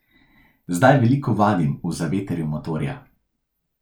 Zdaj veliko vadim v zavetrju motorja.